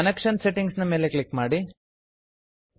connection settings connection settings ನ ಮೇಲೆ click ಮಾಡಿ